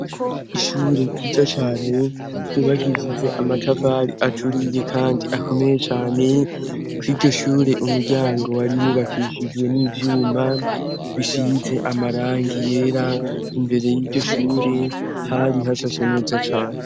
ishure ryiza cyane ryubakishijwe amatafari aturiye kandi akomeye cyane kwiryo sshure umuryango wari wubakishijwe n'ibyuma bisize amarangi yera imbere y'iryoshure hari hashashe cyane